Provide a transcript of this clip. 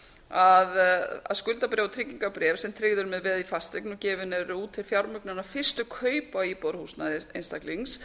að skuldabréf og tryggingarbréf sem tryggð eru með veði í fasteign og gefin eru út til fjármögnunar fyrstu kaupa á íbúðarhúsnæði einstaklings